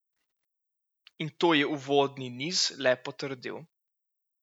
In to je uvodni niz le potrdil.